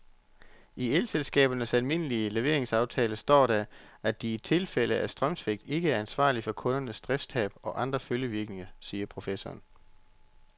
I elselskabernes almindelige leveringsaftaler står der, at de i tilfælde af strømsvigt ikke er ansvarlig for kundernes driftstab og andre følgevirkninger, siger professoren.